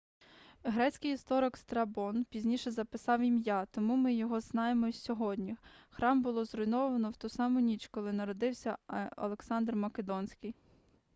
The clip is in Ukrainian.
грецький історик страбон пізніше записав ім'я тому ми його і знаємо сьогодні храм було зруйновано в ту саму ніч коли народився александр македонський